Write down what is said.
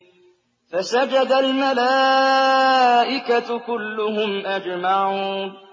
فَسَجَدَ الْمَلَائِكَةُ كُلُّهُمْ أَجْمَعُونَ